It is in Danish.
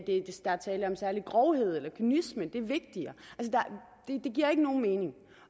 der er tale om en særlig grovhed eller kynisme fordi det er vigtigere det giver ikke nogen mening